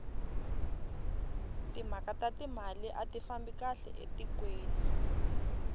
timhaka ta timali ati fambi kahle etikweni